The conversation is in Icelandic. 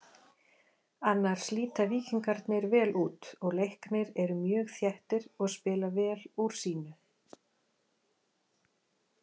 Annars líta Víkingarnir vel út og Leiknir eru mjög þéttir og spila vel úr sínu.